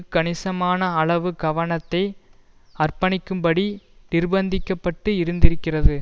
கணிசமான அளவு கவனத்தை அர்ப்பணிக்கும்படி நிர்பந்திக்கப்பட்டு இருந்திருக்கிறது